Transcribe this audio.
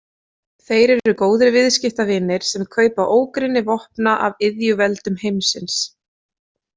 Þeir eru góðir viðskiptavinir sem kaupa ógrynni vopna af iðjuveldum heimsins.